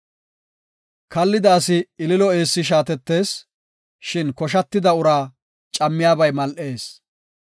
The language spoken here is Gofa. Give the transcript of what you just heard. Kallida asi ililo eessi shaattees; shin koshatida uraa cammiyabay mal7ees.